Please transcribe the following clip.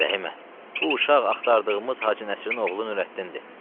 Rəhimə, bu uşaq axtardığımız Hacı Nəsirin oğlu Nurəddindir.